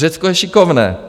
Řecko je šikovné.